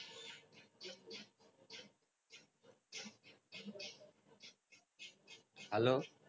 hello